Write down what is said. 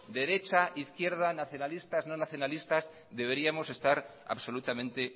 derecha izquierda nacionalistas no nacionalistas deberíamos estar absolutamente